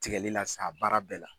Tigɛli sa a baara bɛɛ la.